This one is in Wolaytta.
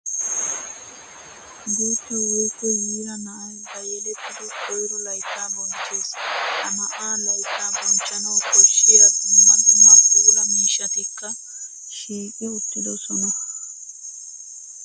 Guuta woykko yiira na'ay ba yelettiddo koyro laytta bonchchees. Ha na'aa laytta bonchchanawu koshiya dumma dumma puula miishshatikka shiiqi uttidosonna.